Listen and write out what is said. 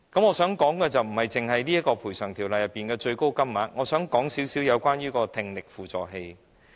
我想說的不止是《條例》中的最高補償金額，我還想說說聽力輔助器。